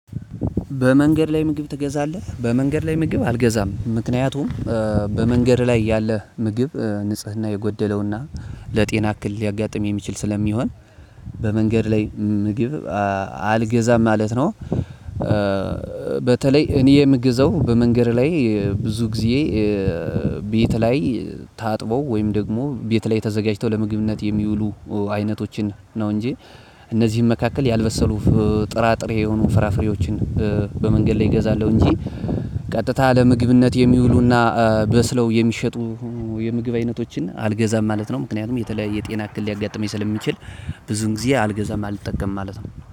በመንገድ ላይ ምግብ ትገዛለህ በመንገድ ላይ ምግብ አልገዛም ምክንያቱም በመንገድ ላይ ያለ ምግብ ንጽህና የጎደለውና ለጤና እክል ሊያጋጥም የሚችል ስለሚሆን በመንገድ ላይ ምግብ አልገዛም ማለት ነው። በተለይ እኔ የምግዘው በመንገድ ላይ ብዙ ጊዜ ቤት ላይ ታጥበው ወይም ደግሞ ቤት ላይ ተዘጋጅተው ለምግብነት የሚውሉ አይነቶችን ነው እንጂ። እነዚህን መካከል ያልበሰሉ ጥራጥሬ የሆኑ ፍራፍሬዎችን በመንገድ ላይ እገዛለው እንጂ ቀጥታ ለምግብነት የሚውሉና በስለው የሚሸጡ የምግብ አይነቶችን አልገዛም ማለት ነው። ምክንያቱም የተለያየ ጤና እክል ሊያጋጥመኝ ስለሚችል ብዙም ግዜ አልገዛም አልጠቀምም ማለት ነው